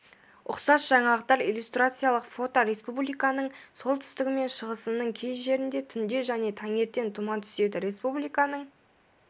ұқсас жаңалықтар иллюстрациялық фото республиканың солтүстігі мен шығысының кей жерінде түнде және таңертең тұман түседі республиканың